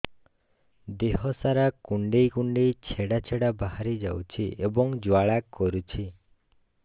ଦେହ ସାରା କୁଣ୍ଡେଇ କୁଣ୍ଡେଇ ଛେଡ଼ା ଛେଡ଼ା ବାହାରି ଯାଉଛି ଏବଂ ଜ୍ୱାଳା କରୁଛି